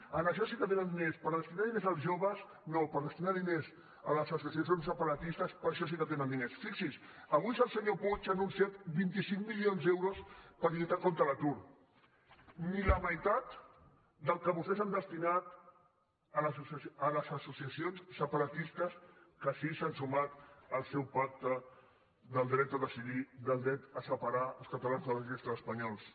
per a això sí que tenen diners per destinar diners als joves no per destinar diners a les associacions separatistes per a això sí que tenen diners fixi’s avui el senyor puig ha anunciat vint cinc milions d’euros per lluitar contra l’atur ni la meitat del que vostès han destinat a les associacions separatistes que sí que s’han sumat al seu pacte pel dret a decidir pel dret a separar els catalans de la resta d’espanyols